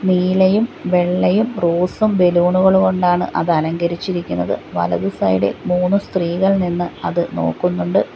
നീലയും വെള്ളയും റോസും ബലൂണുകൾ കൊണ്ടാണ് അത് അലങ്കരിച്ചിരിക്കുന്നത് വലതു സൈഡിൽ മൂന്ന് സ്ത്രീകൾ നിന്ന് അത് നോക്കുന്നുണ്ട്.